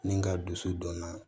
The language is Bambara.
Ni n ka dusu don na